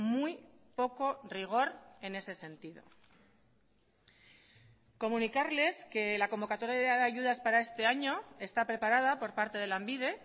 muy poco rigor en ese sentido comunicarles que la convocatoria de ayudas para este año está preparada por parte de lanbide